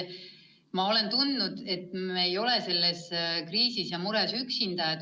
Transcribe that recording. Ma olen tundnud, et me ei ole selles kriisis ja mures üksinda.